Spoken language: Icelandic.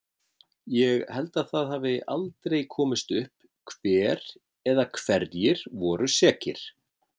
Ég held að það hafi aldrei komist upp hver eða hverjir voru sekir.